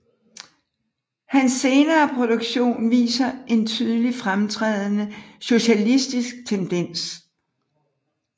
Hans senere produktion viser en tydelig fremtrædende socialistisk tendens